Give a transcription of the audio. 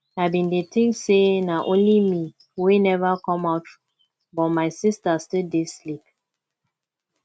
i bin dey think say na only me wey never come out but my sister still dey sleep